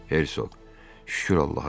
Hersoq, "Şükür Allaha" dedi.